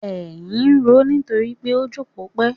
Èyìn ń roó nítorí pó jókòó pẹ́!